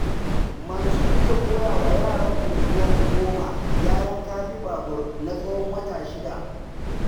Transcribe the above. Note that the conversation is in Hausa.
Mansur zai koyawa yaran unguwarmu 10, gyaran kafi-babur, na tsawon wata 6.